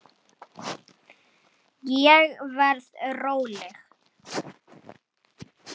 Ég verð róleg.